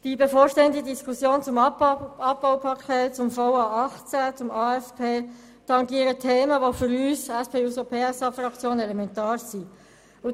Die bevorstehende Diskussion zum Abbaupaket, zum VA 2018 und zum AFP tangieren Themen, die für unsere Fraktion elementar sind.